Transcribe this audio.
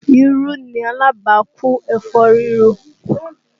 Irú ni alábàákú ẹ̀fọ́ rírò